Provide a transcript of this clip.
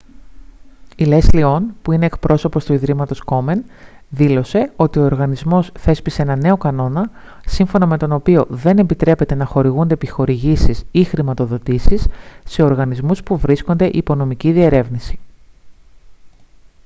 η λέσλι ον που είναι εκπρόσωπος του ιδρύματος κόμεν δήλωσε ότι ο οργανισμός θέσπισε έναν νέο κανόνα σύμφωνα με τον οποίο δεν επιτρέπεται να χορηγούνται επιχορηγήσεις ή χρηματοδοτήσεις σε οργανισμούς που βρίσκονται υπό νομική διερεύνηση